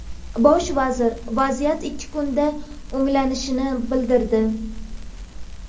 Bosh vazir vaziyat ikki kunda o‘nglanishini bildirdi.